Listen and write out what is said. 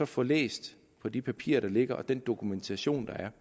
få læst på de papirer der ligger på den dokumentation der er